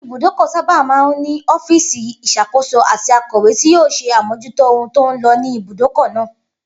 Ibùdókò̩ sábà máa ń ní o̩fíìsì ìs̩àkóso àti akò̩wé tí yóò s̩e àmójútó ohun tó ń lo̩ ní ibùdókò̩ náà